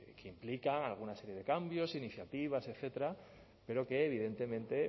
que implican alguna serie de cambios iniciativas etcétera pero que evidentemente